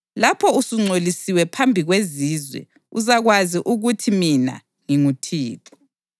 Lapho usungcolisiwe phambi kwezizwe, uzakwazi ukuthi mina nginguThixo.’ ”